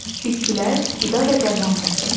Bitkilər qida və dərman vasitəsidir.